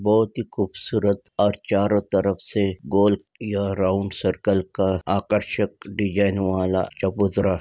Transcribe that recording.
बहुत ही खूबसूरत और चारों तरफ से गोल यह राउंड सरकल का आकर्षक डिज़ाइन वाला चबूतरा --